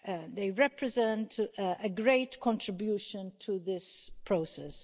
They represent a great contribution to this process.